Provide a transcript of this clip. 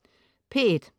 P1: